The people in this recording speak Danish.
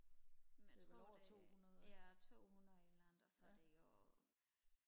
men jeg tror det er øh ja tohundrede et eller andet og så er det jo